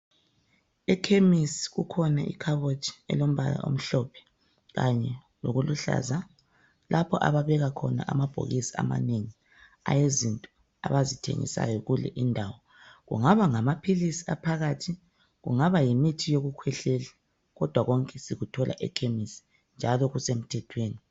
Ekhemisi kukhona ikhabothi elombala omhlophe kanye lokuluhlaza, lapho ababeka khona amabhokisi amanengi awezinto abazithengisayo kule indawo, kungaba ngamaphilisi aphakathi kungaba ngumuthi wokukhwehlela kodwa konke sikuthola ekhemisi njalo kusemthethweni.